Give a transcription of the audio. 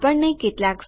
આપણને કેટલાક